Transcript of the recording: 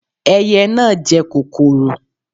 Ẹyẹ na jẹ kòkòrò